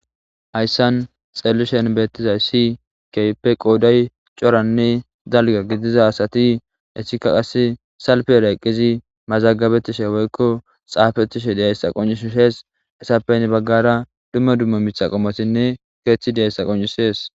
hayssan xellishen beettizay si kepe qooday coranne dalga gidiza asati esika qas salpeera eqqizi mazagabetishe woykko xaafettishe deeyssa qoncishishees esappeynne baggara dumma dumma mixaqomotinne keeththi deayssa qoncishees